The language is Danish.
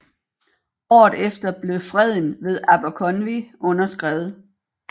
Året efter blev freden ved Aberconwy underskrevet